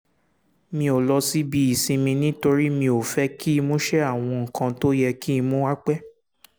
mi ò lọ síbi ìsinmi nítorí mi ò fẹ́ kí ìmúṣẹ àwọn nǹkan tó yẹ kí n mú wá pẹ́